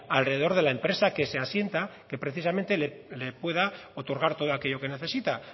alrededor de la empresa que se asienta que precisamente le pueda otorgar todo aquello que necesita